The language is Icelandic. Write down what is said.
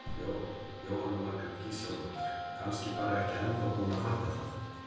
Jóhanna Margrét Gísladóttir: Kannski bara ekki ennþá búin að fatta það?